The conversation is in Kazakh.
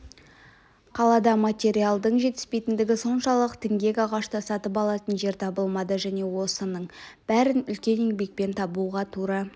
қалада материалдың жетіспейтіндігі соншалық діңгек ағашты сатып алатын жер табылмады және осының бәрін үлкен еңбекпен табуға тура